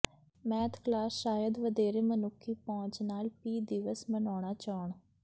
math class ਸ਼ਾਇਦ ਵਧੇਰੇ ਮਨੁੱਖੀ ਪਹੁੰਚ ਨਾਲ ਪੀ ਦਿਵਸ ਮਨਾਉਣਾ ਚਾਹੁਣ